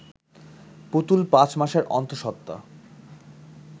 পুতুল পাঁচ মাসের অন্তঃসত্ত্বা